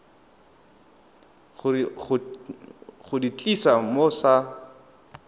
go di tlisa mo sa